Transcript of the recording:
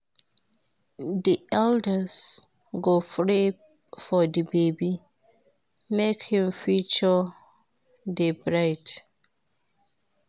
Di elders go pray for di baby, make im future dey bright.